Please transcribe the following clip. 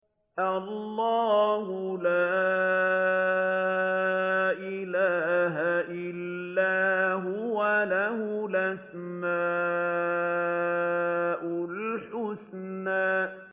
اللَّهُ لَا إِلَٰهَ إِلَّا هُوَ ۖ لَهُ الْأَسْمَاءُ الْحُسْنَىٰ